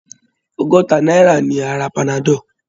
Ọgọ́ta náírà ni a ra panadol.